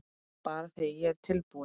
Bara þegar ég er tilbúin